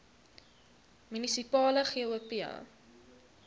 munisipale gop